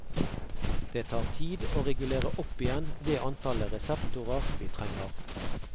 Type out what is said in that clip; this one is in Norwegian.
Det tar tid å regulere opp igjen det antallet reseptorer vi trenger.